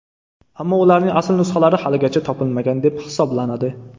Ammo ularning asl nusxalari haligacha topilmagan deb hisoblanadi.